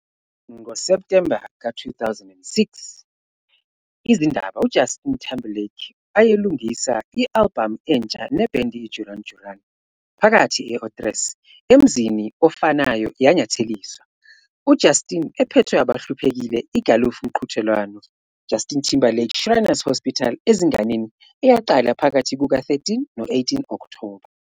Ngo-September 2006, izindaba Justin ayelungisa albhamu entsha band Duran Duran.s, phakathi otros.44 emzini ofanayo yanyatheliswa, Justin phethwe abahluphekile igalofu mqhudelwano Justin Timberlake Shriners Hospitals Ezinganeni, eyaqala ephakathi kuka-13 no-18 Okthoba.